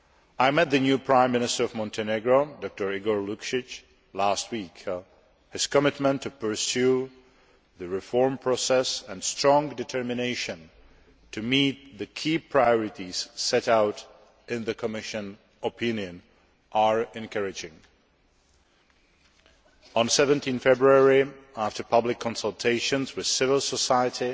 I met the new Prime Minister of Montenegro, Dr Igor Lukšić, last week. His commitment to pursuing the reform process and his strong determination to meet the key priorities set out in the Commission opinion are encouraging. On 17 February, after public consultations with civil society